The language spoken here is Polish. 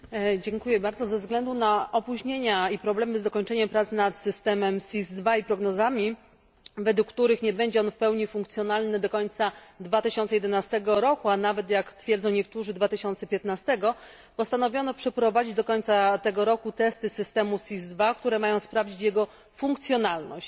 Pani przewodnicząca! Ze względu na opóźnienia i problemy z dokończeniem prac nad systemem SIS II i prognozami, według których nie będzie on w pełni funkcjonalny do końca 2011 roku, a nawet jak twierdzą niektórzy 2015 roku, postanowiono przeprowadzić do końca tego roku testy systemu SIS II, które mają sprawdzić jego funkcjonalność.